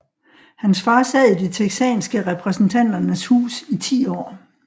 Hans far sad i det texanske repræsentanternes hus i 10 år